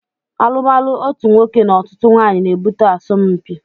Alumalu otú nwoke na ọtụtụ nwanyị na ebute asọmpi